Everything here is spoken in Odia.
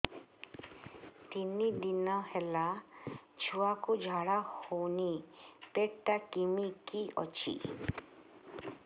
ତିନି ଦିନ ହେଲା ଛୁଆକୁ ଝାଡ଼ା ହଉନି ପେଟ ଟା କିମି କି ଅଛି